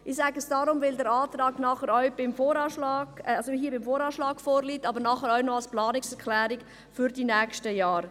Ich sage es deshalb, weil der Antrag nicht nur hier beim VA vorliegt, sondern nachher auch noch als Planungserklärung für die nächsten Jahre.